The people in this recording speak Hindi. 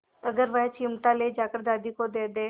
अगर वह चिमटा ले जाकर दादी को दे दे